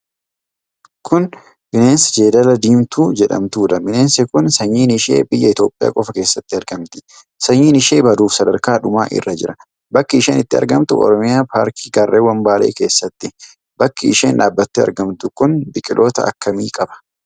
Kun bineensa Jeedala Diimtuu jedhamtudha. Bineensi kun sanyiin ishee biyya Itoophiyaa qofa keessatti argamti. Sanyiin ishee baduuf sadarkaa dhumaa irra jira. Bakki isheen itti argamtu Oromiyaa paarkii Gaarrewwwan Baalee keessattidha. Bakki isheen dhaabattee argamtu kun biqiloota akkamii qaba?